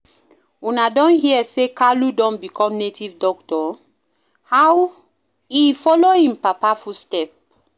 Una don hear say Kalu don become native doctor? He follow im papa footstep.